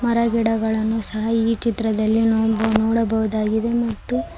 ನಾ ಗಿಡಗಳನ್ನು ಸಹ ಈ ಚಿತ್ರದಲ್ಲಿ ನಾವು ನೋಡಬಹುದಾಗಿದೆ ಮತ್ತು--